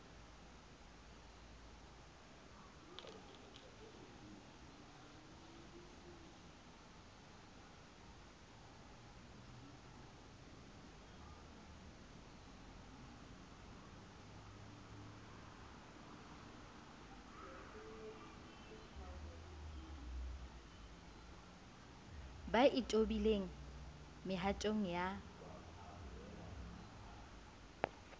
ba e tobileng mehatong ya